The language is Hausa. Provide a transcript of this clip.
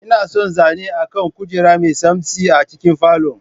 Ina son zane akan kujera mai tsamtsi a cikin falon.